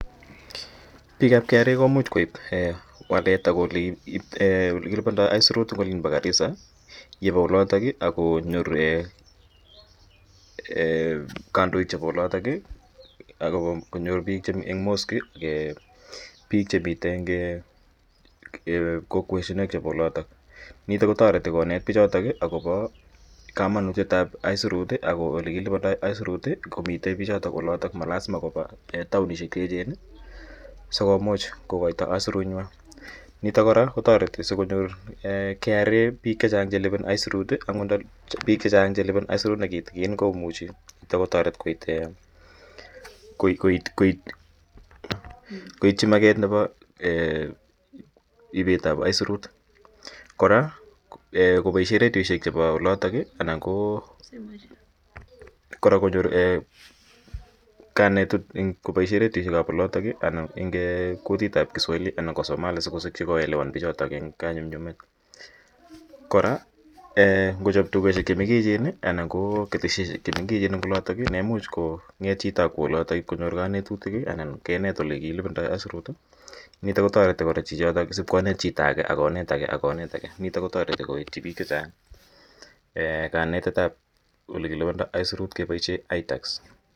Piik ap KRA ko muxh koip walet ak riip ole kilipandai aisurut eng' olin pa Garissa ye pa olatak ak ko nyorune kandoik chepo olatak ak konyor piik eng' Mosque, piik chemiten eng ' kokweshek chepo olatak. Nitok ko tareti konet pichotok akopa kamanutiet ap aisurut ak ole kilipandai aisurut komitei pichotok olatok, ma lasima kopa taonishek chu echen asiko much kokaita aisurunywa. Nitok kora ko tareti si konyor KRA piik che chang' che lipani aisurut angot nda piik che chang' che lipani aisurut ne kitikin ko muchi nitok kotaret koitchi maket nepa ipet ap aisurut. Kora kopaishe redioishek chepo olatak anan ko kora konyor kanetet eng' kopaishe redioishek ap olatak anan ko eng' kutit ap Kiswahili anan ko Somali asikosikchi ko elewan pichotok eng' kanyumnyumet. Kora ngo chop dukoshel che mengechen anan ko keteshoshek che mengechen eng' olatak ne imuch kong'et chito ak kowa olatak ip konyor kanetutik anan kenet ole kilipandai aisurut. Nitok kora ko tareti chichotok asipkonet chito age a konet age ak konet age, nitok ko tareti koitchi piik che chang' kanetet ap ole kilipandai aisurut kepaishe itax.